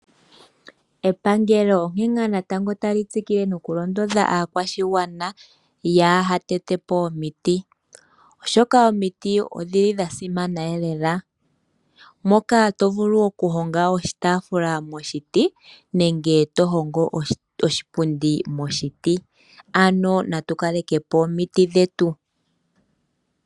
Epangelo onkene ngaa natango tali tsikile nokulondodha aakwashigwana yaa ha tete po omiti, oshoka omiti odhili dha simaneelela moka to vulu okuhonga oshitaafula moshiti nenge to hongo oshipundi moshiti. Ano natu kaleke po omiti dhetu.